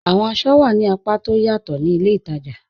Awọn àṣọ wà ní àpá tó ọ̀ yatọ̀ ti ilẹ̀ ìtaja